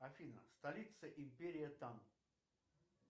афина столица империи тан